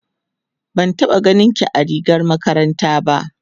ban taɓa ganinki a rigar makaranta. ba